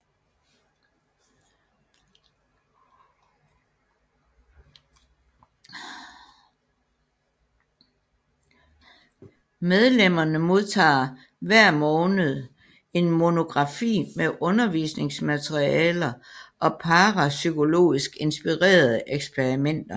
Medlemmerne modtager hver måned en monografi med undervisningsmaterialer og parapsykologisk inspirerede eksperimenter